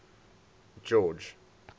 george